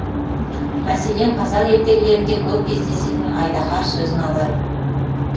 мәселен қазақ ертегілерінде көп кездесетін айдаһар сөзін алайық